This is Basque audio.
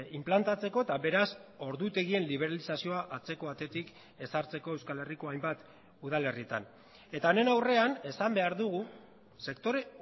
inplantatzeko eta beraz ordutegien liberalizazioa atzeko atetik ezartzeko euskal herriko hainbat udalerrietan eta honen aurrean esan behar dugu sektore